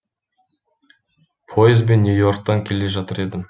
пойызбен нью и орктан келе жатыр едім